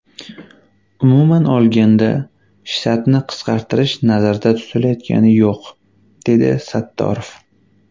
Umuman olganda, shtatni qisqartirish nazarda tutilayotgani yo‘q”, dedi Sattorov.